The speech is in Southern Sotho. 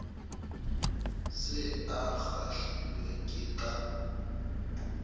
se a kgahlilwe ke ka